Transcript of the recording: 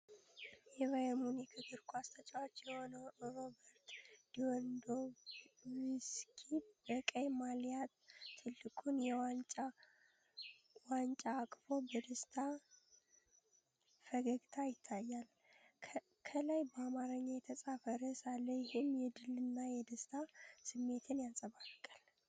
የባየርን ሙኒክ እግር ኳስ ተጫዋች የሆነው ሮበርት ሌዋንዶቭስኪ በቀይ ማልያ ትልቁን የዋንጫ ዋንጫ አቅፎ በደስታ ፈገግታ ይታያል። ከላይ በአማርኛ የተጻፈ ርዕስ አለ፤ ይህም የድልና የደስታ ስሜትን ያንጸባርቃል።